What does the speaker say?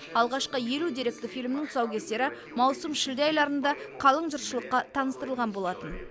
алғашқы елу деректі фильмнің тұсаукесері маусым шілде айларында қалың жұртшылыққа таныстырылған болатын